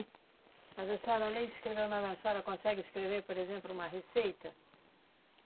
Mas a senhora, além de escrever o nome, a senhora consegue escrever, por exemplo, uma receita?